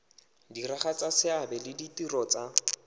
diragatsa seabe le ditiro tsa